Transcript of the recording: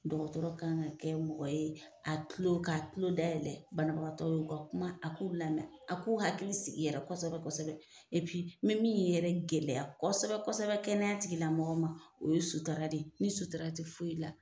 Dɔgɔtɔrɔ ka kan ka kɛ mɔgɔ ye a kulo ka kulo dayɛlɛ banabagatɔ ye u ka kuma a k'u lamɛn a k'u hakili sigi yɛrɛ kosɛbɛ kosɛbɛ mɛ min yɛrɛ gɛlɛya kosɛbɛ kosɛbɛ kɛnɛya tigila mɔgɔ ma o ye sutara de ye, ni sutura tɛ foyi la.